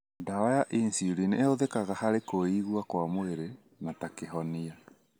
Ndawa ya insulin nĩihũthikaga harĩ kũigua kwa mwĩrĩ na ta Kĩhonia.